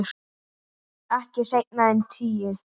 Ekki seinna en tíu.